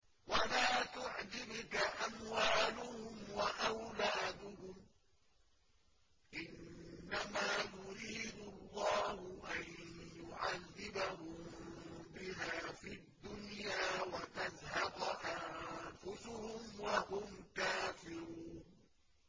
وَلَا تُعْجِبْكَ أَمْوَالُهُمْ وَأَوْلَادُهُمْ ۚ إِنَّمَا يُرِيدُ اللَّهُ أَن يُعَذِّبَهُم بِهَا فِي الدُّنْيَا وَتَزْهَقَ أَنفُسُهُمْ وَهُمْ كَافِرُونَ